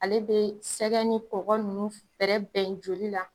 Ale be sɛgɛ ni kɔgɔ nunnu bɛrɛbɛn joli la